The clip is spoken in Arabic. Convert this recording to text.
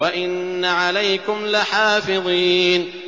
وَإِنَّ عَلَيْكُمْ لَحَافِظِينَ